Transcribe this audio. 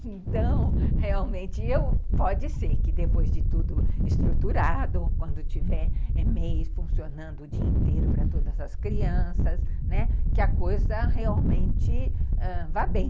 Então, realmente, eu, pode ser que depois de tudo estruturado, quando tiver e-mails funcionando o dia inteiro para todas as crianças, que a coisa realmente vá bem.